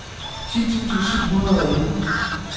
ti tusind syv hundrede og elleve